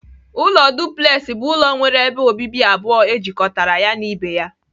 Ụlọ duplex bụ ụlọ nwere ebe obibi abụọ ejikọtara ya na ibe ya.